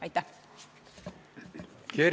Aitäh!